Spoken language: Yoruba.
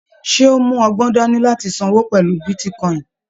Ṣe o mọgbọ́n dání láti sanwó pẹlú bitíkọ̀in?